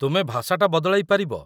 ତୁମେ ଭାଷାଟା ବଦଳାଇ ପାରିବ।